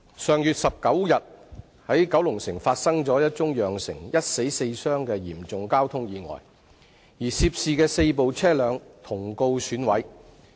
上月19日，九龍城發生一宗釀成一死四傷的嚴重交通意外，而涉事的四部車輛同告損毀。